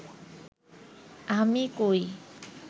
আমি কই